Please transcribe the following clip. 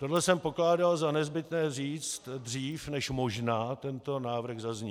Tohle jsem pokládal za nezbytné říct dřív, než možná tento návrh zazní.